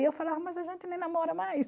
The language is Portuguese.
E eu falava, mas a gente nem namora mais.